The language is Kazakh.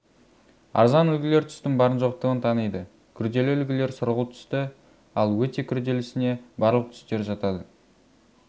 арзан үлгілер түстің барын жоқтығын таниды күрделі үлгілер сұрғылт түсті ал өте күрделісіне барлық түстер жатады